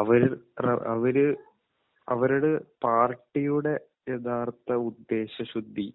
അവര് ഏഹ് അവര് അവരുടെ പാർട്ടിയുടെ യഥാർത്ഥ ഉദ്ദേശശുദ്ധി